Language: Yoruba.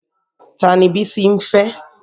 Tani Bísí ń fẹ́?